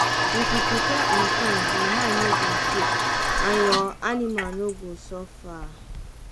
if you prepare on time your mind no go shake and your anima no go suffer.